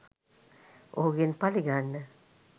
ඔහුගෙන් පලිගන්න